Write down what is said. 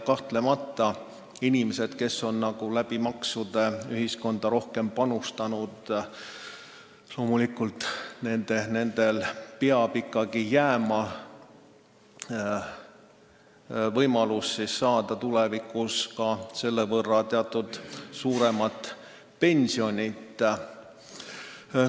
Kahtlemata peab inimestele, kes on maksude näol ühiskonda rohkem panustanud, jääma võimalus tulevikus selle võrra suuremat pensioni saada.